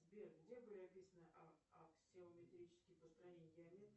сбер где были описаны аксиометрические построения геометрии